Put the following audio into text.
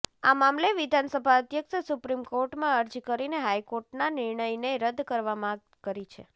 આ મામલે વિધાનસભા અધ્યક્ષે સુપ્રીમ કોર્ટમાં અરજી કરીને હાઈકોર્ટના નિર્ણયને રદ કરવા માગ કરી છે